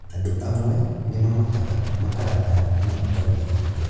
Andũ amwe nĩmamakaga, makarakara na makaruta bujo